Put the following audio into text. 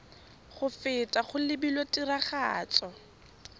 go feta go lebilwe tiragatso